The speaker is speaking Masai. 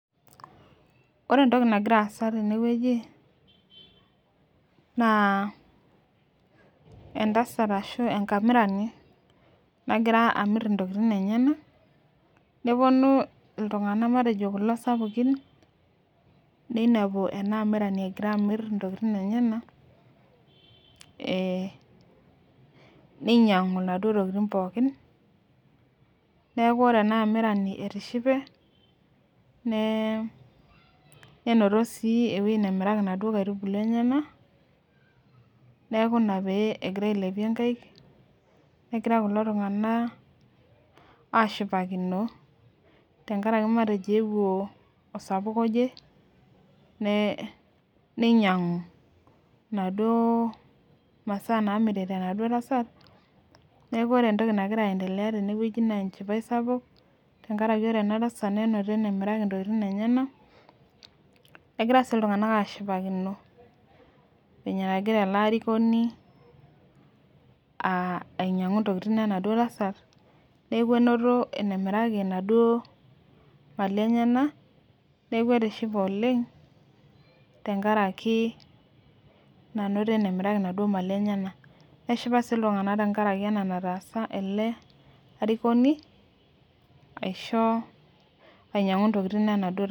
Ore entoki nagira aasa tenewueji na entasat ashu enkamirani nahira amir ntokitin enyenak neponu ltunganak sapukin ninepu enaa amirani egira amir ntokitin enyenak ninyangu naduo tokitin pookin neaku ore ena amirani etishipe ninoto enemirie naduo aitubulu enyenak neaku ina pegira ailepie nkaik negira kulo tunganak ashipakino amu ewuo osapuk oje ninyangu naduo masaa namirita enaduo tasat neaku ore entoki nagira aendelea tene na enchipae sapuk amu ore enatasat nenoto enemiraki ntokitin enyenak negira si ltunganak ashipakino venye nagira ele arikoni ainyangu ntokitin enaduo tasat neaku inoto enamiraki inaduo mali enyenak neaku etishepe oleng tenkaraki enainoto enemiraki naduo mali enyenak neshipa si ltunganak tenkaraki ena nataasa oladuo arikoni ainyangu ntokitin enaduo tasat.